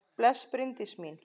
Bless, Bryndís mín!